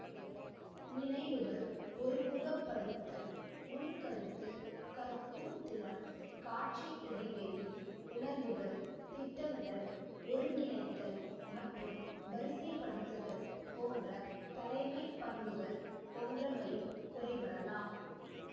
நினைவுகள்ஒருமுகப்படுத்தல் நுண்கருத்து கற்கும் திறன் காட்சிஇடைவெளி உணர்வுகள் திட்டமிடல்ஒருங்கிணைத்தல் மற்றும் வரிசைப்படுத்துதல் போன்ற தலைமைப்பண்புகள் போன்றவையும் குறைபடலாம்